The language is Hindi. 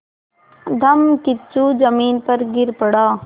धम्मकिच्चू ज़मीन पर गिर पड़ा